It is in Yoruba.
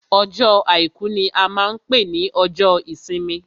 Ọjọ́ àìkú ní a máa n pé ní ọjọ́ ìsinmi.